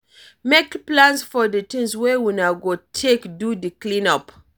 Make plans for di things wey una go take do di clean-up